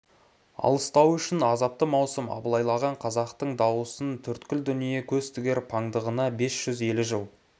алыстауы үшін азапты маусым абылайлаған қазақтың дауысын төрткіл дүние көз тігер паңдығына бес жүз елі жыл